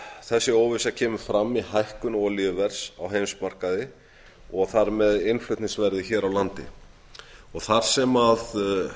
þessi óvissa kemur fram í hækkun olíuverðs á heimsmarkaði og þar með innflutningsverði hér á landi þar sem